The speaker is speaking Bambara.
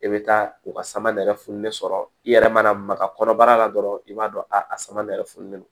I bɛ taa u ka sama nɛrɛ fununen sɔrɔ i yɛrɛ mana maga kɔnɔbara la dɔrɔn i b'a dɔn a sama nɛrɛ fununen don